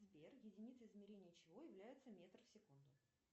сбер единицей измерения чего является метр в секунду